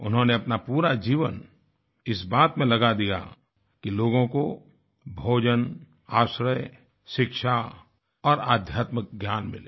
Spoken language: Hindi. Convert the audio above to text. उन्होंने अपना पूरा जीवन इस बात में लगा दिया कि लोगों को भोजन आश्रय शिक्षा और आध्यात्मिक ज्ञान मिले